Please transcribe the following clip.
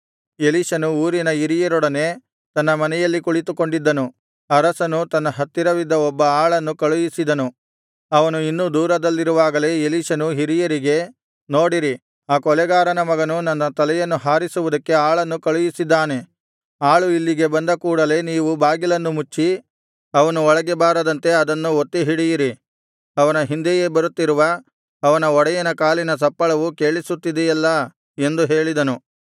ಎಲೀಷನು ಊರಿನ ಹಿರಿಯರೊಡನೆ ತನ್ನ ಮನೆಯಲ್ಲಿ ಕುಳಿತುಕೊಂಡಿದ್ದನು ಅರಸನು ತನ್ನ ಹತ್ತಿರವಿದ್ದ ಒಬ್ಬ ಆಳನ್ನು ಕಳುಹಿಸಿದನು ಅವನು ಇನ್ನೂ ದೂರದಲ್ಲಿರುವಾಗಲೇ ಎಲೀಷನು ಹಿರಿಯರಿಗೆ ನೋಡಿರಿ ಆ ಕೊಲೆಗಾರನ ಮಗನು ನನ್ನ ತಲೆಯನ್ನು ಹಾರಿಸುವುದಕ್ಕೆ ಆಳನ್ನು ಕಳುಹಿಸಿದ್ದಾನೆ ಆಳು ಇಲ್ಲಿಗೆ ಬಂದ ಕೂಡಲೆ ನೀವು ಬಾಗಿಲನ್ನು ಮುಚ್ಚಿ ಅವನು ಒಳಗೆ ಬಾರದಂತೆ ಅದನ್ನು ಒತ್ತಿ ಹಿಡಿಯಿರಿ ಅವನ ಹಿಂದೆಯೇ ಬರುತ್ತಿರುವ ಅವನ ಒಡೆಯನ ಕಾಲಿನ ಸಪ್ಪಳವು ಕೇಳಿಸುತ್ತಿದೆಯಲ್ಲಾ ಎಂದು ಹೇಳಿದನು